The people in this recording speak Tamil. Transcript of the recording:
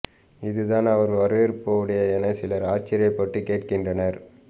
இதுதான் அவர் வரவேற்பு உடையா என சிலர் ஆச்சர்யப்பட்டு கேட்கின்றனர்